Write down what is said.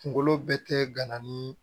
Kunkolo bɛ tɛ gana ni